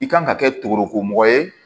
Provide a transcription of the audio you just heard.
I kan ka kɛ togomɔgɔ ye